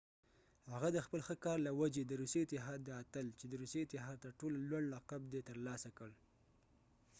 هغه د خپل ښه کار له وجې د روسي اتحاد د اتل چې د روسي اتحاد تر ټولو لوړ لقب دی ترلاسه کړ